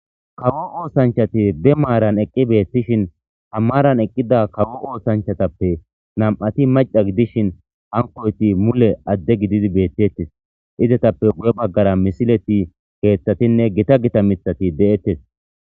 Gomo osanichchati ba marani eqida osanichchati ha marani eqida Gamo osanichchatappe namati mavha gudishini hanikoyiti mule ade gididi beteteesi izetaple guye bagara misiletinne kethaati gita gita mithati deteesi